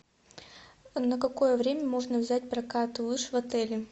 на какое время можно взять прокат лыж в отеле